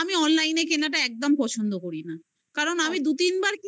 আমি online কেনাটা একদম পছন্দ করি না. কারণ আমি দু তিনবার